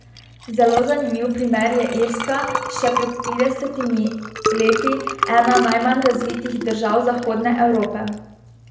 Zelo zanimiv primer je Irska, še pred tridesetimi leti ena najmanj razvitih držav zahodne Evrope.